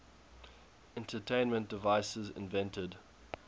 entertainment devices invented